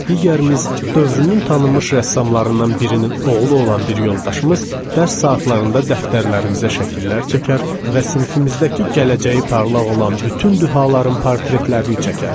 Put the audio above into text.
Digərimiz, dövrünün tanınmış rəssamlarından birinin oğlu olan bir yoldaşımız dərs saatlarında dəftərlərimizə şəkillər çəkər və sinifimizdəki gələcəyi parlaq olan bütün dühaların portretlərini çəkərdi.